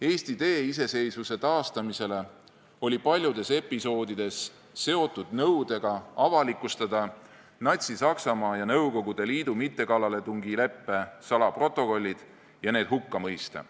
Eesti tee iseseisvuse taastamisele oli paljudes episoodides seotud nõudega avalikustada Natsi-Saksamaa ja Nõukogude Liidu mittekallaletungileppe salaprotokollid ja need hukka mõista.